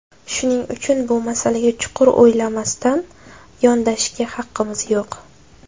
Shuning uchun bu masalaga chuqur o‘ylamasdan yondashishga haqqimiz yo‘q.